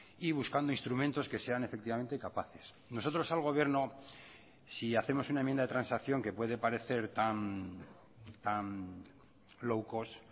y buscando instrumentos que sean efectivamente capaces nosotros al gobierno si hacemos una enmienda de transacción que puede parecer tan low cost